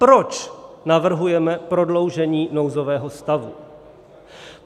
Proč navrhujeme prodloužení nouzového stavu?